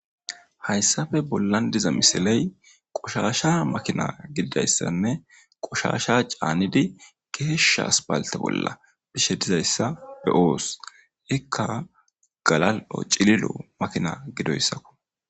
hayssafe bollan diza misiley qoshasha makina gididayssanne qoshasha caanidi geeshsha aspalte bolla bishe dizayssa be7oos ikka galal7o cililo makina gidoyssako.